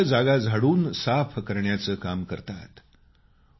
अस्वच्छ जागा झाडून साफ करण्याचं काम करतात